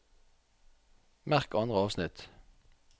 Merk andre avsnitt